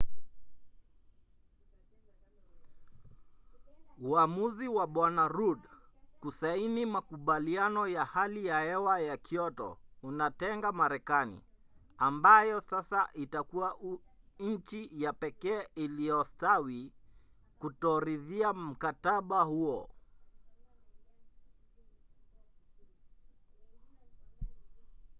uamuzi wa bw. rudd kusaini makubaliano ya hali ya hewa ya kyoto unatenga marekani ambayo sasa itakuwa nchi ya pekee iliyostawi kutoridhia mkataba huo